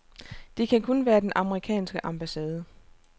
Det kan kun være den amerikanske ambassade.